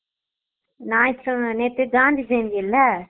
நயத்து கிழம நேத்து காந்தி ஜெயந்தில